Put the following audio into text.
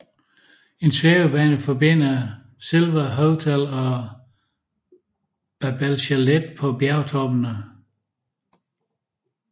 En svævebane forbinder Silva Hotel og Babele Chalet på bjergtoppene